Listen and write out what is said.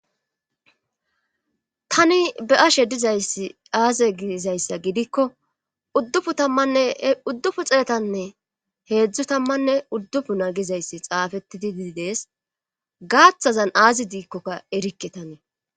tani be ashe dizay aaze giizayssa gidikko dduu tammanne uddufu xeetanne heedzdzu tammanne uddufu nagizayssi xaafettidi dizidees gaaththazan aazi diikkokka erikke tanee